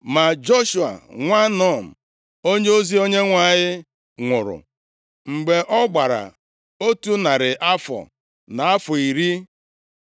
Ma Joshua, nwa Nun, onyeozi Onyenwe anyị nwụrụ, mgbe ọ gbara otu narị afọ, na afọ iri.